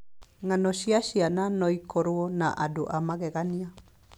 Ng'ano cia ciana no ikorũo na andũ a magegania.